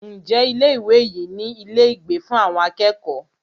Ǹjẹ́ ilé ìwé yìí ní ilé ìgbé fún àwọn akẹ́kọ̀ọ́?